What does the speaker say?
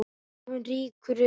Hún rýkur upp.